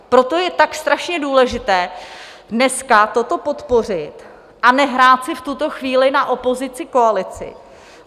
Proto je tak strašně důležité dneska toto podpořit a nehrát si v tuto chvíli na opozici-koalici.